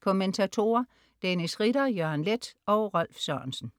Kommentatorer: Dennis Ritter, Jørgen Leth og Rolf Sørensen